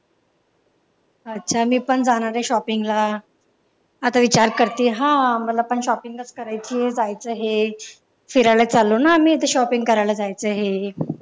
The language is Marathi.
अच्छा मी पण जाणारे sopping ला आता विचार करतेय हा मला पण shopping चं करायचेय जायचंय फिरायला चाललो ना आम्ही ते shopping करायला चाललो आम्ही